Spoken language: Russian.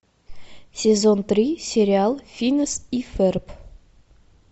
сезон три сериал финес и ферб